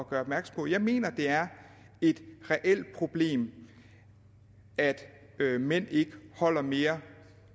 gøre opmærksom på jeg mener at det er et reelt problem at mænd ikke holder mere